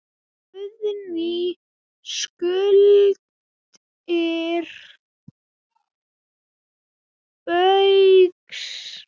Guðný: Skuldir Baugs?